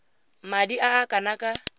madi a a kana ka